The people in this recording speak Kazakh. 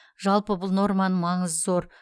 жалпы бұл норманың маңызы зор